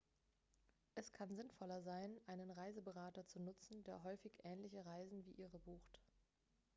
es kann sinnvoller sein einen reiseberater zu nutzen der häufig ähnliche reisen wie ihre bucht